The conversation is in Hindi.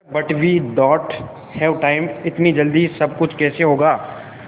sir but we don't have time इतनी जल्दी सब कुछ कैसे होगा